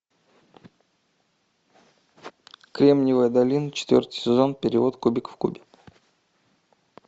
кремниевая долина четвертый сезон перевод кубика в кубе